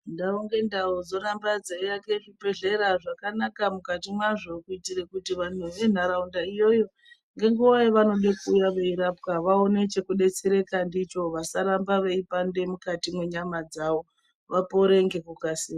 Ndau ngendau dzoramba dzeiake zvibhedhlera zvakanaka mukati mwazvo kuitire kuti vantu venharaunda iyoyo ngenguwa yavanoda kuuya veirapwa vaone chekudetsereka ndicho vasarambe veipandwe mukati mwenyama dzavo. Vapore ngekukasika.